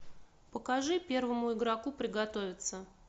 покажи первому игроку приготовиться